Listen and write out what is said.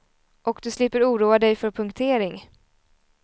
Och du slipper oroa dig för punktering.